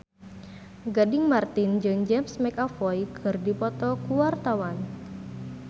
Gading Marten jeung James McAvoy keur dipoto ku wartawan